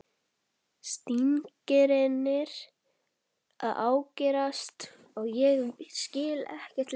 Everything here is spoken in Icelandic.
Stingirnir að ágerast og ég skil ekkert lengur.